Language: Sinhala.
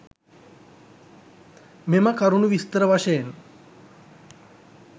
මෙම කරුණු විස්තර වශයෙන්